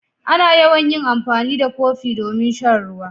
Ana yawan yin amfani da kofi domin shan ruwa.